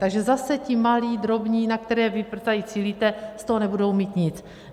Takže zase ti malí, drobní, na které vy tady cílíte, z toho nebudou mít nic.